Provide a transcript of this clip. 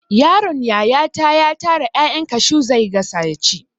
Yaron yayata ya tara 'ya'yan kashu zai gasa yaci.